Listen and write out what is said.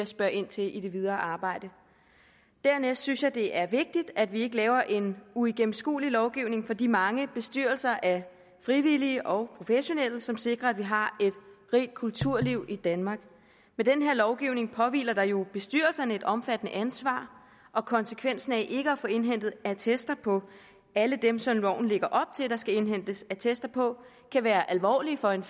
spørge ind til i det videre arbejde dernæst synes jeg det er vigtigt at vi ikke laver en uigennemskuelig lovgivning for de mange bestyrelser af frivillige og professionelle som sikrer at vi har et rigt kulturliv i danmark med den her lovgivning påhviler der jo bestyrelserne et omfattende ansvar og konsekvensen af ikke at få indhentet attester på alle dem som loven lægger op til der skal indhentes attester på kan være alvorlige for en